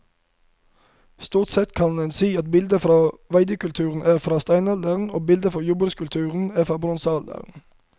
Stort sett kan en si at bilder fra veidekulturen er fra steinalderen og bilder fra jordbrukskulturen er fra bronsealderen.